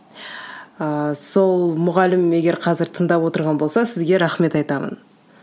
ыыы сол мұғалім егер қазір тыңдап отырған болса сізге рахмет айтамын